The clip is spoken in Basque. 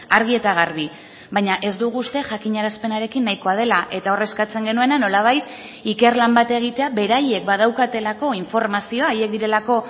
argi eta garbi baina ez dugu uste jakinarazpenarekin nahikoa dela eta hor eskatzen genuena nolabait ikerlan bat egitea beraiek badaukatelako informazioa haiek direlako